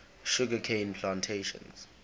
sugar cane plantations